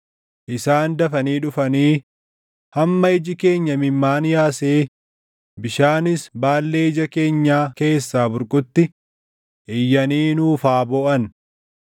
Isaan dafanii dhufanii hamma iji keenya imimmaan yaasee bishaanis baallee ija keenyaa keessaa burqutti iyyanii nuuf haa booʼan.